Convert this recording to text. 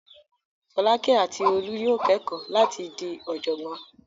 Fọ́lákẹ́ àti Olú yóò kẹ́kọ̀ọ́ láti di ọ̀jọ̀gbọ́n.